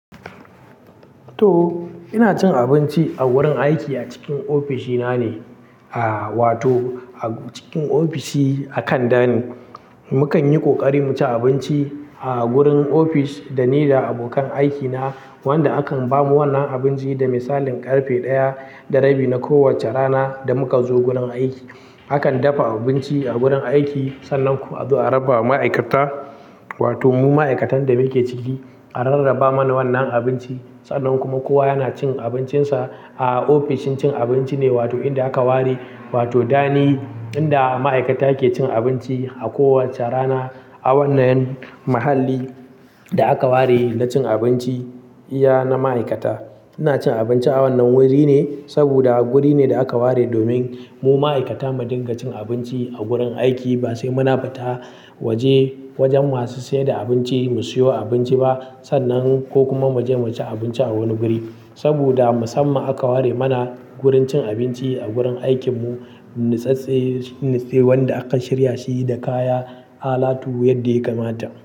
To! Ina cin abinci a wurin aiki a cikin ofishi na ne, a-wato a cikin ofishi a kan dani. Mukan yi ƙoƙari mu ci abinci a gurin ofis dani da abokan aikina wanda akan ba mu wannan abinci da misalin ƙarfe ɗaya da rabi na kowacce rana da muka zo gunan aiki. Akan dafa abinci a gurin aiki, sannan kuma azo a raba ma ma'aikata wato mu ma'aikatan da muke ciki a rarraba mana wannan abinci. Sannan kuma kowa yana cin abincinsa a ofishin cin abinci ne, wato inda aka ware wato dani inda ma'aikata ke cin abinci a kowacce rana. A wannan mahalli da aka ware na cin abinci iya na ma'aikata. Ina cin abinci a wannan wuri ne saboda wuri ne da aka ware domin mu ma'aikata mu dinga cin abinci a gurin aiki ba sai muna fita waje wajen masu sayar da abinci mu siyo abinci ba sannan ko kuma mu je mu ci abinci a wani guri. Saboda musamman aka ware mana wurin cin abinci a gurin aikin mu, natsatstse shine wanda aka shirya shi da kaya, alatu yadda ya kamata.